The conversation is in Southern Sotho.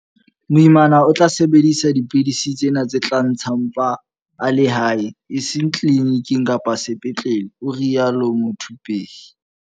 Moimana o tla sebedisa dipidisi tsena tse tla ntsha mpa a le hae, e seng tliliniking kapa sepetlele, o rialo Muthuphei.